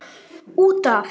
Út af.